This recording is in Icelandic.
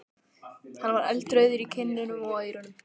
Hann var eldrauður í kinnunum og á eyrunum.